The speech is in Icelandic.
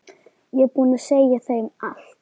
Ég er búinn að segja þeim allt.